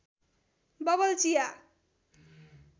bubble चिया